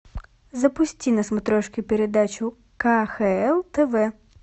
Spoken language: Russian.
запусти на смотрешке передачу кхл тв